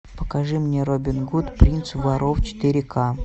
покажи мне робин гуд принц воров четыре ка